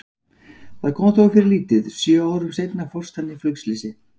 Það kom þó fyrir lítið, sjö árum seinna fórst hann í flugslysi.